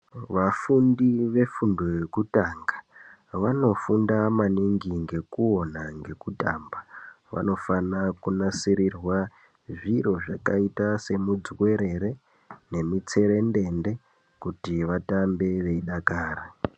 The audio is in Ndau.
Vafundi vefundo yekutanga vanofunda maningi ngekuona ngekutamba vanofana kunasirirwa zviro zvakaita semudzuwerere ne mutserendende kuti vatambe veyi dakara.